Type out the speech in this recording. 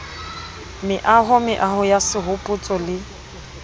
meaho meaho ya sehopotso le